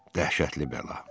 Dəhşətli bəla.